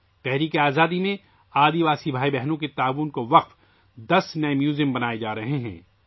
جنگ آزادی میں قبائلی بھائیوں اور بہنوں کے تعاون کے لیے دس نئے عجائب گھر قائم کیے جا رہے ہیں